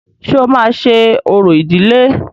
Ṣé o máa ṣe orò ìdiĺé?